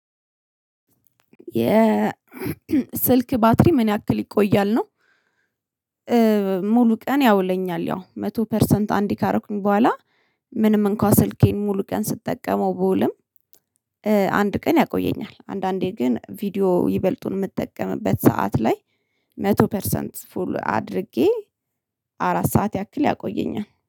የ ስልክ ባትሪ ምን ያክል ይቆያል ነው? ሙሉ ቀን ያውለኛል ያው መቶ ፐርሰንት አንዴ ካረኩኝ በኋላ። ምንም እንኳን ስልኬን ሙሉ ቀን ስትጠቀመው ብውልም። አንድ ቀን ያቆየኛል አንዳንዴ ግን ቪዲዮ ይበልጡን የምጠቀምበት ሰዓት ላይ መቶ ፐርሰንት ፉል አድርጌ አራት ሰዓት ያክል ያቆየኛል